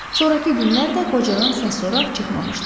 Sonrakı günlər də qocadan səs-soraq çıxmamışdı.